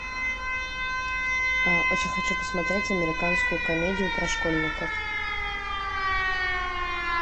очень хочу посмотреть американскую комедию про школьников